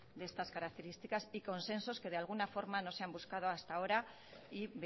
de estas características y consensos que de alguna forma no se han buscado hasta ahora y